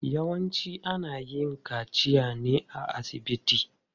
Yawanci ana yin kaciya ne a asibiti.